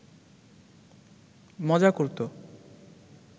মজা করত